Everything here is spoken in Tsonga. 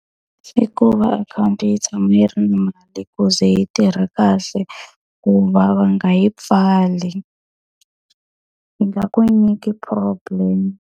I ku va akhawunti yi tshama yi ri na mali ku ze yi tirha kahle, ku va va nga yi pfali. Yi nga ku nyiki problem.